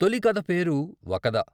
తొలి కథ పేరు వకద...